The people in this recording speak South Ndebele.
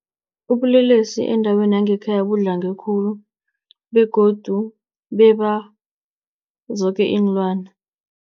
Ubulelesi endaweni yangekhaya budlange khulu begodu beba zoke iinlwana.